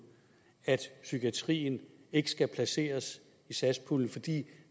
at psykiatrien ikke skal placeres i satspuljen fordi